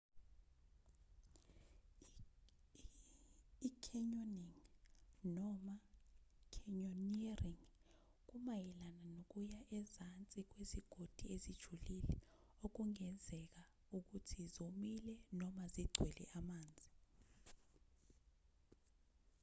i-canyoning noma: canyoneering kumayelana nokuya ezansi kwezigodi ezijulile okungezeka ukuthi zomile noma zigcwele amanzi